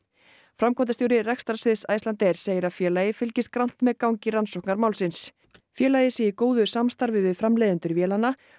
framkvæmdastjóri rekstrarsviðs Icelandair segir að félagið fylgist grannt með gangi rannsóknar málsins félagið sé í góðu samstarfi við framleiðendur vélanna